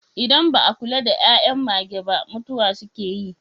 Idan ba a kula da 'yan'yan mage ba mutuwa suke yi.